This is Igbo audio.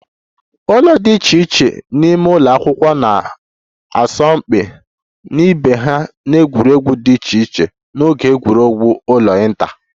Ụlọ dị iche iche n'ime ụlọ akwụkwọ na-asọ mpi na ibe ha n'egwuregwu dị iche iche n'oge egwuregwu ụlọ inter